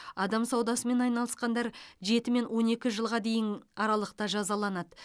адам саудасымен айналысқандар жеті мен он екі жылға дейін аралықта жазаланады